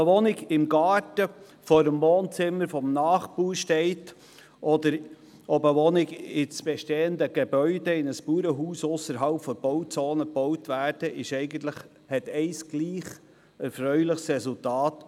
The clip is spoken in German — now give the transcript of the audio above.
Ob eine Wohnung im Garten vor dem Wohnzimmer des Nachbarn steht, oder ob eine Wohnung in ein bestehendes Bauernhaus ausserhalb der Bauzone gebaut wird, hat ein gemeinsames erfreuliches Resultat: